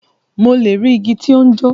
Mo le ri igi ti o n jo.